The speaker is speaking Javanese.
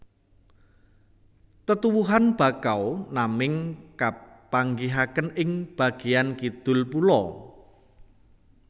Tetuwuhan Bakau naming kapanggihaken ing bageyan kidul pulo